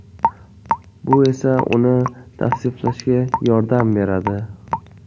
Bu esa uni tavsiflashga yordam beradi.